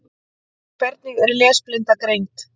Hvernig er lesblinda greind?